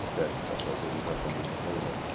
Sete, está fazendo exatamente cem anos.